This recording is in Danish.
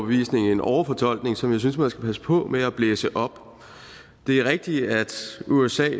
en overfortolkning som jeg synes man skal passe på med at blæse op det er rigtigt at usa